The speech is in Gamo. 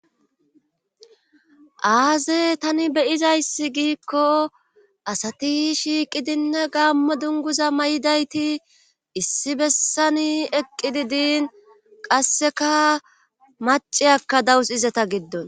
aaze tani beyizayssi giikko asati shiiqidinne gaammo dunguza may7idayti issi bessani eqqidi diin qasseka maciyakka dawus izeta giddon